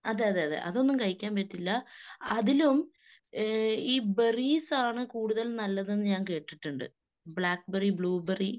അതെയതെ അതെ. അതൊന്നും കഴിക്കാൻ പറ്റില്ല. അതിലും ഏഹ് ഈ ബെറീസാണ് നല്ലതെന്ന് കേട്ടിട്ടുണ്ട്. ബ്ലാക്ക്ബെറി ബ്ല ബെറി